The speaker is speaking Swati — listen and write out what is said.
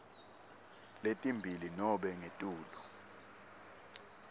letimbili nobe ngetulu